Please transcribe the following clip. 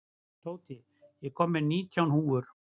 Tóti, ég kom með nítján húfur!